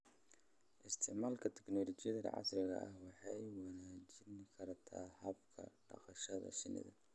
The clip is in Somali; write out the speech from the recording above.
Isticmaalka tignoolajiyada casriga ah waxay wanaajin kartaa hababka dhaqashada shinnida.